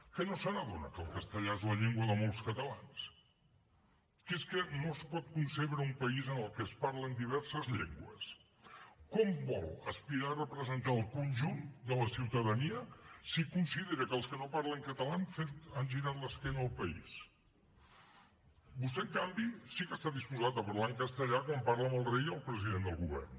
que no se n’adona que el castellà és la llengua de molts catalans que és que no es pot concebre un país en el que es parlen diverses llengües com vol aspirar a representar el conjunt de la ciutadania si considera que els que no parlen català han girat l’esquena al país vostè en canvi sí que està disposat a parlar en castellà quan parla amb el rei o el president del govern